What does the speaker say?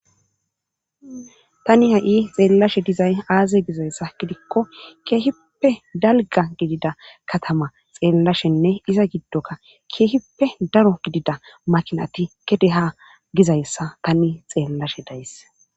Tani ha'i xeelashe dizayssa aaze gizayssa keehipe dalgga gidida katama xeelashenne iza gidokka keehippe daro gidida makiinati gede ha gizayssa tani xeelashe days.